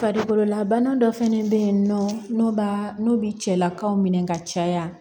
Farikololabana dɔ fɛnɛ be yen nɔ n'o b'a n'u bi cɛlakaw minɛ ka caya